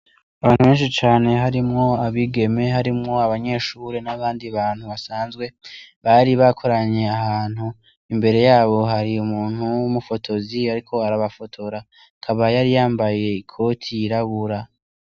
Abantu benshi cane harimwo abigeme, harimwo abanyeshure n' abandi bantu basanzwe, bari bakoraniye ahantu imbere yabo hari umuntu w' umufotozi ariko arabafotora akaba yari yambaye ikoti yirabura.